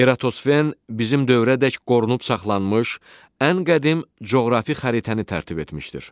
Eratosfen bizim dövrədək qorunub saxlanmış ən qədim coğrafi xəritəni tərtib etmişdir.